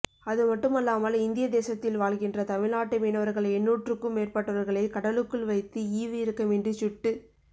அதுமட்டுமல்லாமல் இந்திய தேசத்தில் வாழ்கின்ற தமிழ்நாட்டு மீனவர்கள் எண்ணூற்றுக்கும் மேற்பட்டவர்களைக் கடலுக்குள் வைத்து ஈவு இரக்கமின்றிசுட்டுக்